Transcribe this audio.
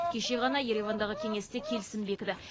кеше ғана еревандағы кеңесте келісім бекіді